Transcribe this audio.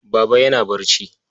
Baba yana barci.